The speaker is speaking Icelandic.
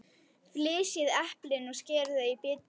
Flysjið eplin og skerið þau í bita.